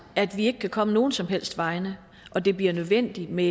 at vi ikke kan komme nogen som helst vegne og det bliver nødvendigt med